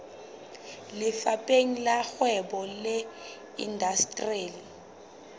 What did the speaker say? lefapheng la kgwebo le indasteri